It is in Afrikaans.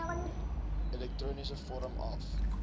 elektroniese vorm af